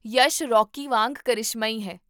Yash Rocky ਵਾਂਗ ਕ੍ਰਿਸ਼ਮਈ ਹੈ